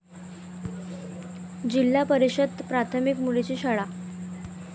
जिल्हा परिषद प्राथमिक मुलींची शाळा